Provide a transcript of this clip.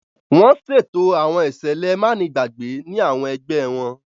Wọn ṣeto àwọn iṣẹlẹ manigbagbe ni awọn ẹgbẹ wọn.